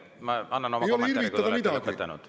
Hea kolleeg, ma annan oma kommentaarid, kui te olete lõpetanud.